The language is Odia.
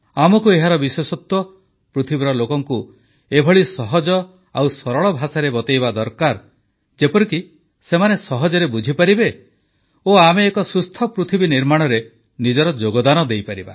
ଆମକୁ ଏହାର ବିଶେଷତ୍ୱ ପୃଥିବୀର ଲୋକଙ୍କୁ ଏପରି ସହଜ ଓ ସରଳ ଭାଷାରେ ବତାଇବା ଦରକାର ଯେପରିକି ସେମାନେ ସହଜରେ ବୁଝିପାରିବେ ଓ ଆମେ ଏକ ସୁସ୍ଥ ପୃଥିବୀ ନିର୍ମାଣରେ ନିଜର ଯୋଗଦାନ ଦେଇପାରିବା